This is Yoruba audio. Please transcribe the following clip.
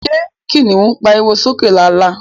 Ṣé kiniun pariwo sókè lálá?